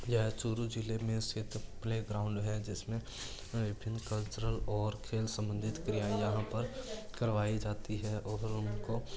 यह चुरू जिले में स्थित प्ले ग्राउंड है जिसमे विभिन्न कल्चरल और खेल सबंधित क्रिया यहां पर करवाई जाती है और उनको --